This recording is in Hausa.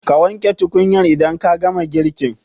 Ka wanke tukunyar idan ka gama girkin.